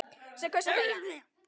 Sem kaus að þegja.